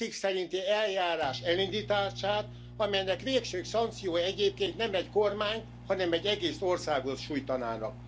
7. cikk szerinti eljárás elindítását, amelynek végső szankciói egyébként nem egy kormányt, hanem egy egész országot sújtanának.